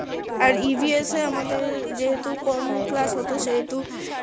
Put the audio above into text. আর EVNS এ আমাদের যেহেতু কম ক্লাস হতো সেহেতু